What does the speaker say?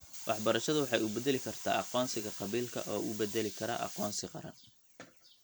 Waxbarashadu waxay u beddeli kartaa aqoonsiga qabiilka oo u beddeli kara aqoonsi qaran.